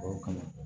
O ka na